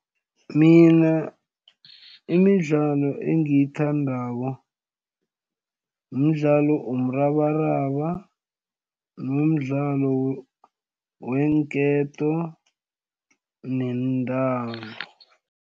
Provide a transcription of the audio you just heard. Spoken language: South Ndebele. Mina imidlalo engiyithandako mdlalo womrabaraba nomdlalo weenketo nentambo.